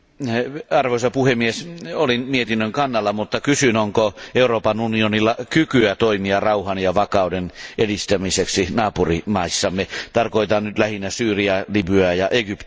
Arvoisa puhemies, olin mietinnön kannalla, mutta kysyn, onko Euroopan unionilla kykyä toimia rauhan ja vakauden edistämiseksi naapurimaissamme, tarkoitan nyt lähinnä Syyriaa, Libyaa ja Egyptiä.